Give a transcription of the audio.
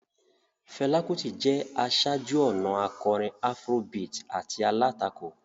Fela Kuti jẹ́ aṣáájú-ọ̀nà akọrin Afrobeat àti alátakò.